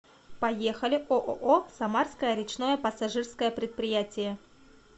поехали ооо самарское речное пассажирское предприятие